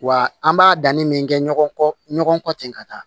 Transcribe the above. Wa an b'a danni min kɛ ɲɔgɔn kɔ ɲɔgɔn kɔ ten ka taa